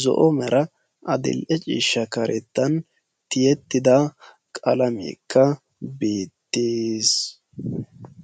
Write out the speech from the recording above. zo"o mera adidhe ciishsha karettan tiyettidi qalameekka beettes.